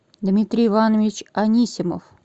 дмитрий иванович анисимов